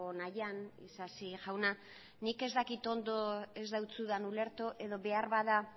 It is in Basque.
nahian isasi jauna nik ez dakit ondo ez dizudan ulertu edo beharbada